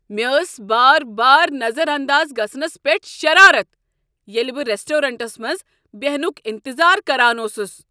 مےٚ ٲس بار بار نظر انداز گژھنس پیٹھ شرارت، ییٚلہ بہٕ ریسٹورینٹس منز بیہنک انتظار کران اوسُس۔